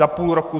Za půl roku?